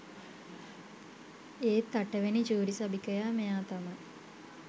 ඒත් අටවෙනි ජූරි සභිකයා මෙයා තමයි